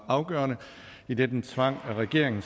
afgørende idet den tvang regeringen